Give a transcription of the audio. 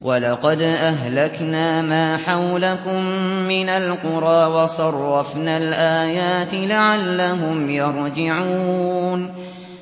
وَلَقَدْ أَهْلَكْنَا مَا حَوْلَكُم مِّنَ الْقُرَىٰ وَصَرَّفْنَا الْآيَاتِ لَعَلَّهُمْ يَرْجِعُونَ